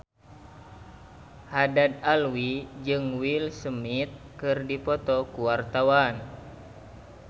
Haddad Alwi jeung Will Smith keur dipoto ku wartawan